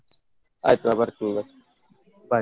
ಆಯ್ತು ನಾನ್ ಬರ್ತೀನಿ ಬರ್ತೀನಿ bye.